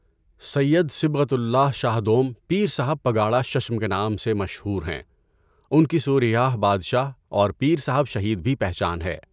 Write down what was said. سید Sibghatullah Shah دوم ، پیر صاحب پگاڑا ششم کے نام سے مشہور ہیں۔ ان کی سورھیہ بادشاہ اور پیر صاحب شہید بھی پہچان ہے۔